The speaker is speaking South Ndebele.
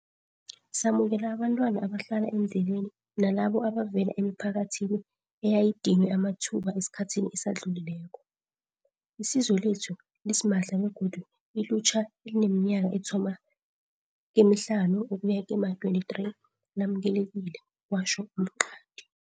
Samukela abentwana abahlala eendleleni nalabo ebavela emiphakathini eyayidinywe amathuba esikhathini esidlulileko. Isizo lethu lisimahla begodu ilutjha elineminyaka ethoma kemihlanu ukuya kema-23 lamukelekile, kwatjho u Mqadi.